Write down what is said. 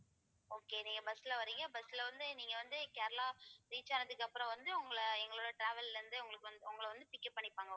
okay நீங்க bus ல வர்றீங்க bus ல வந்து நீங்க வந்து கேரளா reach ஆனதுக்கு அப்புறம் வந்து உங்களை எங்களோட travel ல இருந்து உங்களுக்கு வந்து உங்களை வந்து pick up பண்ணிப்பாங்க